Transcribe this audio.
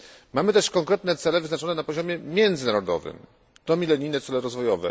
Mamy też konkretne cele wyznaczone na poziomie międzynarodowym są to milenijne cele rozwoju.